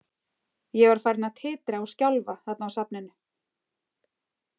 Ég var farinn að titra og skjálfa þarna á safninu.